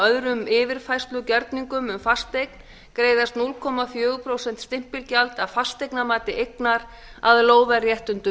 öðrum yfirfærslugerningum um fasteign greiðist núll komma fjögur prósent stimpilgjald af fasteignamati eignar að lóðarréttindum